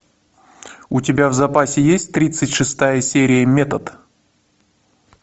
у тебя в запасе есть тридцать шестая серия метод